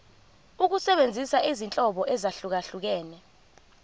ukusebenzisa izinhlobo ezahlukehlukene